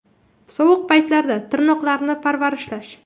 Sovuq paytlarda tirnoqlarni parvarishlash.